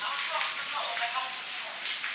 Axıracan, Məhəmməd, axıracan.